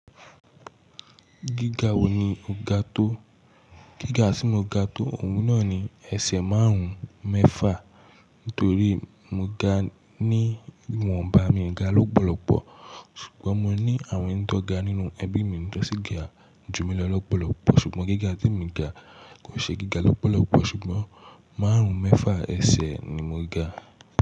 Gíga wo ni o ga tó? Gíga tí mo ga tó òun náà ni ẹsẹ̀ márùn-ún mẹ́fà nítorí mo ga ní wọ́n bá mi ga lọ́pọ̀lọpọ ṣùgbọ́n mo ní àwọn ẹni tó ga nínú ẹbí mi tó si ga jù mí lọ lọ́pọ̀lọpọ̀ ṣùgbọ́n gíga tí mo ga kò ṣe gíga lọ́pọ̀lọpọ̀ ṣùgbọ́n márùn-ún mẹ́fà ẹsẹ̀ ni mo ga.